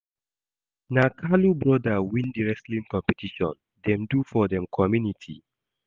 Na Kalu broda win the wrestling competition dem do for dem community